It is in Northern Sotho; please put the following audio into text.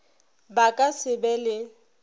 ba ka se be le